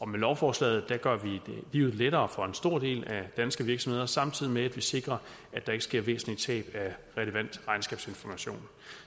med lovforslaget gør vi livet lettere for en stor del af de danske virksomheder samtidig med at vi sikrer at der ikke sker væsentlige tab af relevant regnskabsinformation